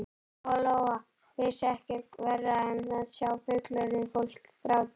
Lóa Lóa vissi ekkert verra en að sjá fullorðið fólk gráta.